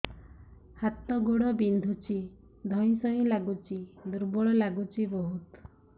ହାତ ଗୋଡ ବିନ୍ଧୁଛି ଧଇଁସଇଁ ଲାଗୁଚି ଦୁର୍ବଳ ଲାଗୁଚି ବହୁତ